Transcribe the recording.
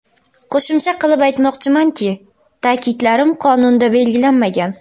Qo‘shimcha qilib aytmoqchimanki, ta’kidlarim qonunda belgilanmagan.